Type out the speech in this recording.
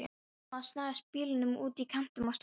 Mamma snaraði bílnum út í kantinn og stoppaði.